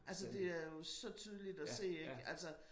Altså det er jo så tydeligt at se ikke